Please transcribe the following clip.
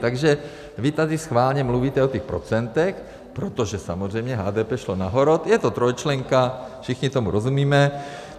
Takže vy tady schválně mluvíte o těch procentech, protože samozřejmě HDP šlo nahoru, je to trojčlenka, všichni tomu rozumíme.